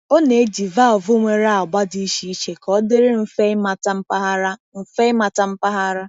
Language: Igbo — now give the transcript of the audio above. Ọ na-eji valvụ nwere agba dị iche iche ka ọ dịrị mfe ịmata mpaghara. mfe ịmata mpaghara.